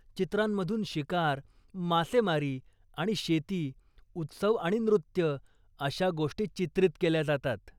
चित्रांमधून शिकार, मासेमारी आणि शेती, उत्सव आणि नृत्य अशा गोष्टी चित्रित केल्या जातात.